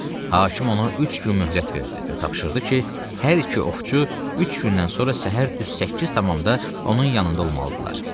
Hakim ona üç gün möhlət verdi və tapşırdı ki, hər iki ovçu üç gündən sonra səhər düz səkkiz tamamda onun yanında olmalıdırlar.